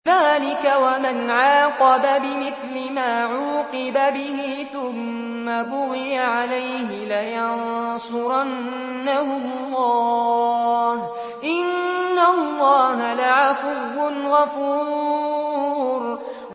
۞ ذَٰلِكَ وَمَنْ عَاقَبَ بِمِثْلِ مَا عُوقِبَ بِهِ ثُمَّ بُغِيَ عَلَيْهِ لَيَنصُرَنَّهُ اللَّهُ ۗ إِنَّ اللَّهَ لَعَفُوٌّ غَفُورٌ